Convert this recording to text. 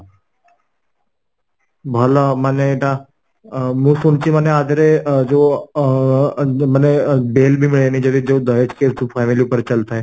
ଭଲ ମନ ଏଟା ଆଁ ମୁଁ ଶୁଣିଚି ମାନେ ଆଧରେ ଅ ଯୋ ଅ ଯୋ ମାନେ ଅ bail ବି ମିଳେନି ଯଦି ଯୋଉ case ଯୋଉ family ଉପରେ ଚାଲିଥାଏ